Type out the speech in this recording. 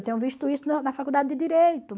Eu tenho visto isso na na faculdade de Direito.